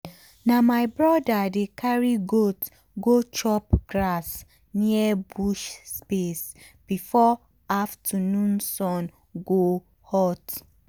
na my brother dey carry goat go chop grass near bush space before afternoon sun go hot.